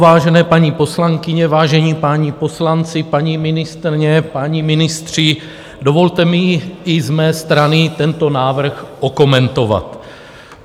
Vážené paní poslankyně, vážení páni poslanci, paní ministryně, páni ministři, dovolte mi i z mé strany tento návrh okomentovat.